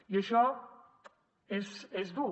i això és dur